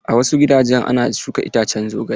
A wasu gidajen ana shuka iccen zogale.